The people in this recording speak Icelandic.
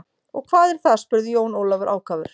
Og hvað er það spurði Jón Ólafur ákafur.